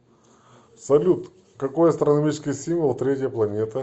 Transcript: салют какой астрономический символ третья планета